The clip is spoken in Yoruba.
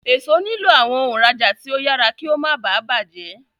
Èso nilo awọn òǹrajà tí o yàrá kí o má bá bàjé.